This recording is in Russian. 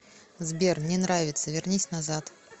сбер не нравится вернись назад